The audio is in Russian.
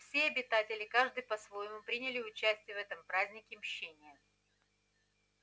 все обитатели каждый по-своему приняли участие в этом празднике мщения